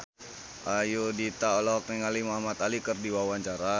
Ayudhita olohok ningali Muhamad Ali keur diwawancara